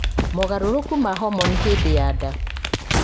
mogarũrũku ma homoni hĩndĩ ya nda